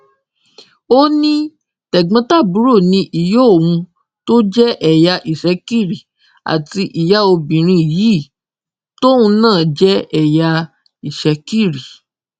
ó ní tẹgbọntàbúrò ni ìyá òun tó jẹ ẹyà ìṣekiri àti ìyá obìnrin yìí tóun náà jẹ ẹyà ìṣekiri